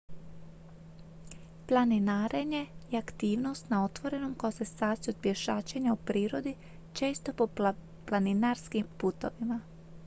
planinarenje je aktivnost na otvorenom koja se sastoji od pješačenja u prirodi često po planinarskim putovima